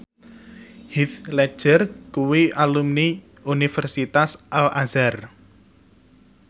Heath Ledger kuwi alumni Universitas Al Azhar